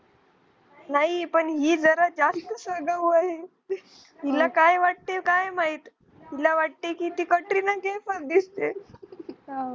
नाही पण हि जरा जास्त हिला काय वाटते काय माहित हिला वाटते कि ती Katrina Kaif दिसते